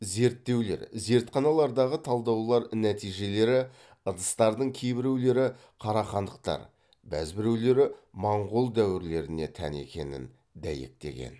зерттеулер зертханалардағы талдаулар нәтижелері ыдыстардың кейбіреулері қарахандықтар бәзбіреулері моңғол дәуірлеріне тән екенін дәйектеген